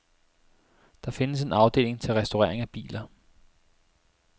Der findes en afdeling til restaurering af biler.